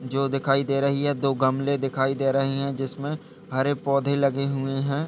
जो दिखाई दे रही है। दो गमले दिखाई दे रहे है। जिसमें हरे पौधे लगे हुए हैं।